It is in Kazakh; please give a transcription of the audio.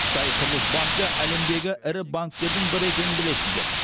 қытай құрылыс банкі әлемдегі ірі банктердің бірі екенін білесіздер